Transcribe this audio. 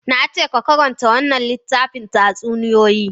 Na ce ka karanta wannan littafin tatsuniyoyi!